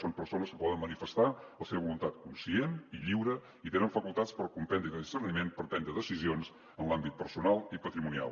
són persones que poden manifestar la seva voluntat conscient i lliure i tenen facultats per comprendre i de discerniment per prendre decisions en l’àmbit personal i patrimonial